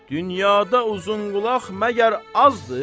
Dünyada uzunqulaq məgər azdır?